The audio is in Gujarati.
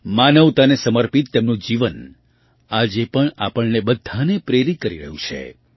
માનવતાને સમર્પિત તેમનું જીવન આજે પણ આપણને બધાંને પ્રેરિત કરી રહ્યું છે